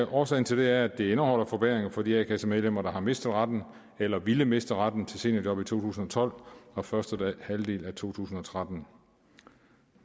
årsagen til det er at det indeholder forbedringer for de a kassemedlemmer der har mistet retten eller ville miste retten til seniorjob i to tusind og tolv og første halvdel af to tusind og tretten